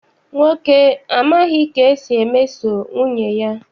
Nwoke a amaghi emeso nwunye ya.